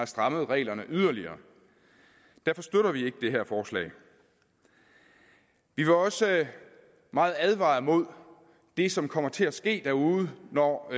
stramme reglerne yderligere derfor støtter vi ikke det her forslag vi vil også meget advare imod det som kommer til at ske derude når